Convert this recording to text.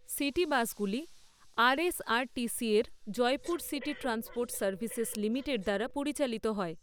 City বাসগুলি আরএসআরটিসিএর Jaipur city transport services limited দ্বারা পরিচালিত হয়।